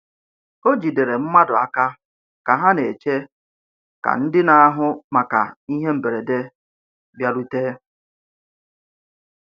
O jidere mmadụ aka ka ha na-eche ka ndị na-ahụ maka ihe mberede bịarute.